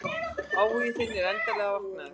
Áhugi þinn er endanlega vaknaður.